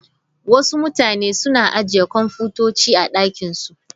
Wasu mutane suna ajiye kwamfutoci a ɗakin su.